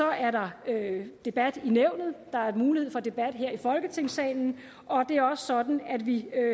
er der debat i nævnet der er mulighed for debat her i folketingssalen og det er også sådan at vi